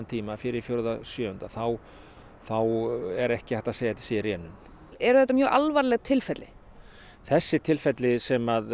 tíma fyrir fjórða sjöunda þá þá er ekki hægt að segja að sé í rénun eru þetta mjög alvarleg tilfelli þessi tilfelli sem